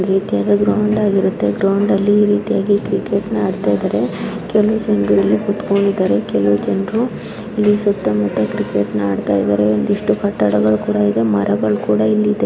ರೋಡಲ್ಲಿ ರೀತಿಯಾಗಿ ಕ್ರಿಕೆಟ್ ನೋಡುತ್ತಾರೆ ಅವುಗಳನ್ನುಕೊಂಡಿದ್ದಾರೆನಾನು ಇಷ್ಟು ಕಟ್ಟಡಗಳು ಕೂಡ ಇದೆಮರಗಳು ಕೂಡ ಇಲ್ಲಿದೆ ಕೆಲವು ಜನರು ಇಲ್ಲಿ ಸತ್ತ ಕ್ರಿಕೆಟ್ --